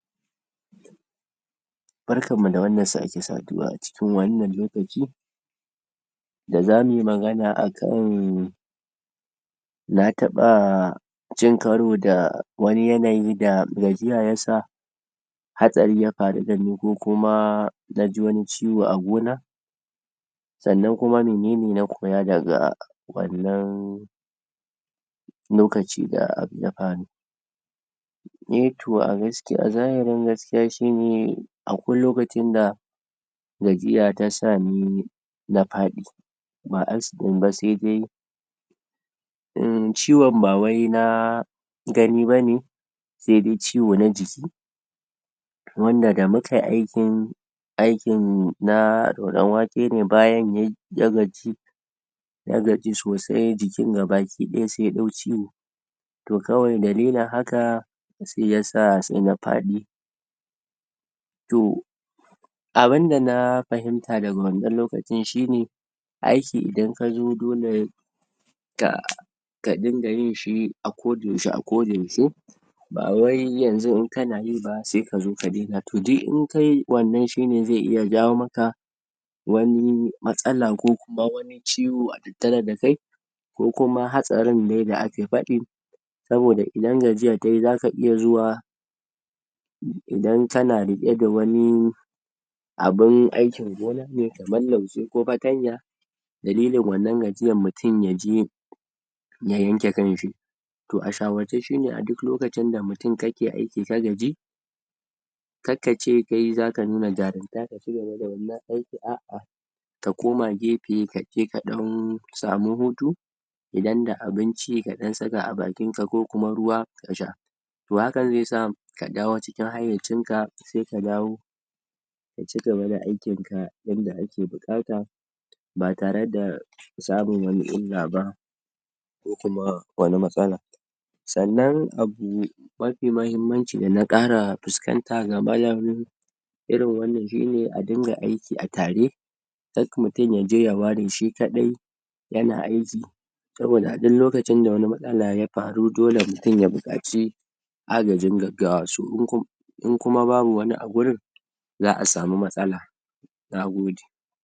Barkanmu da wannan sake saduwa a cikin wannan lokaci da zamuyi magana akan um na taɓa cin karo da wani yanayi da gajiya yasa hatsari yafaru dani ko kuma naji wani ciwo a gona sannan kuma menene na koya daga wannan lokacin da abu yafaru. eh toh a gaskiya a zahirin gaskiya shine akwai lokacin da gajiya tasani na faɗi. Ba askin ba sai dai um ciwon ba wai na gani bane saidai ciwo na jiki wanda da mukayi aikin, aikin na roran wake ne bayan ya gaji ya gaji sosai jikin gaba ki daya sai ya ɗau ciwo toh kawai dalilin haka, sai yasa sai na fadi to abunda na fahimta daga wannan lokacin shine aiki idan kazo dole ka ka dinga yinshi a koda yaushe a koda yaushe bawai yanzu in kanayi ba sai kazo ka dena toh duk in kayi wannan shine ze iya jawo maka wani matsala ko kuma wani ciwo a tattare dakai ko kuma hatsarin dai da ake faɗi saboda idan gajiya tayi zaka iya zuwa idan kana riƙe da wani abun aikin gona ne kaman lauje ko fatanya dalilin wannan gajiyan mutum yaje ya yanke kanshi. Toh a shawarce shine a duk lokacin da mutum kake aiki ka gaji karkace kai zaka nuna jarumta ka cigaba da wannan aikin a'a Ka koma gefe ka dan samu hutu idan da abinci kadan saka a bakinka ko kuma ruwa ka sha toh hakan ze sa ka dawo cikin hayyacinka sai ka dawo ka cigaba da aikin ka yanda ake bu'kata ba tare da samun wani illa ba ko kuma wani matsala sannan abu mafi mahimmaci dana 'kara fuskanta game um da irin wannan shine a dinga aiki a tare kar mutum yaje ya ware shi kaɗai yana aiki saboda a duk lokacin da wani matsala ya faru dole mutum ya buƙaci agajin gaggawa so in ku in kuma babu wani a wurin za'a samu matsala Na gode